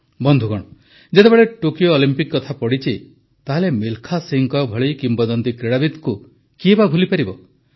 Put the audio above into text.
ବନ୍ଧୁଗଣ ଯେତେବେଳେ Tokyo Olympic କଥା ପଡ଼ିଛି ତାହେଲେ ମିଲଖା ସିଂହଙ୍କ ଭଳି କିମ୍ବଦନ୍ତୀ କ୍ରୀଡ଼ାବିତଙ୍କୁ କିଏ ବା ଭୁଲିପାରେ